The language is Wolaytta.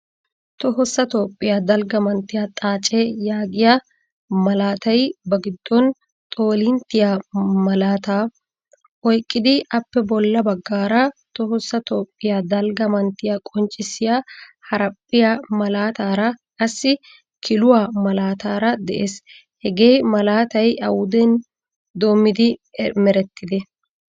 Tohossa toophphiyaa dalgga manttiya Xaacce yaagiya malaatay ba giddon xoolinttiyaa malaata oyqqidi appe bolla baggaara tohossa tophphiya dalgga manttiya qonccissiya haraphphiyaa malaatara qassi kiluwaa malaataara de'ees. Hagee malaataay awuden doomidi merettide?